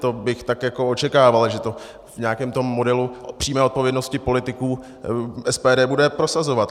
To bych tak jako očekával, že to v nějakém tom modelu přímé odpovědnosti politiků SPD bude prosazovat.